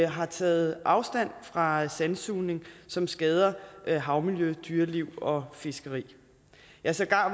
har taget afstand fra sandsugning som skader havmiljø dyreliv og fiskeri ja sågar